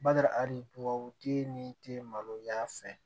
Bada adibabutigi ni te maloya fɛ